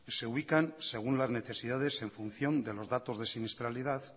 se ubican según las necesidades en función de los datos de siniestralidad